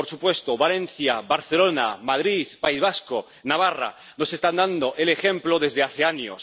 Por supuesto, Valencia, Barcelona, Madrid, País Vasco, Navarra nos están dando un ejemplo desde hace años.